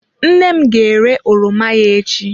Nne m ga-ere oroma ya echi.